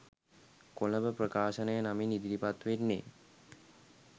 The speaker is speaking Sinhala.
කොළඹ ප්‍රකාශනය නමින් ඉදිරිපත් වෙන්නේ.